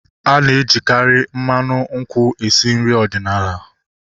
Ana ejikari mmanụ nkwụ esi nri ọdịnala